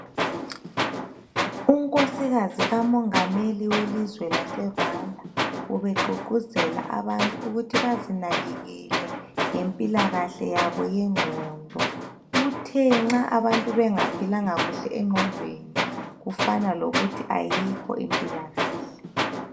Unkosikazi kamongameli welizwe laseRwanda ubegqugquzela abantu ukuthi bazinakekele ngempilakahle yabo yengqondo. Uthe nxa abantu bengaphilanga kuhle engqondweni kufana lokuthi ayikho impilakahle.